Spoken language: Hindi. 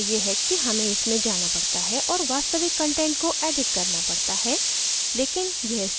समस्या ये है कि हमें इसमें जाना पड़ता है और वास्तविक कंटेंट को edit करना पड़ता है